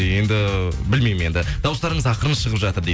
енді білмеймін енді дауыстарыңыз ақырын шығып жатыр дейді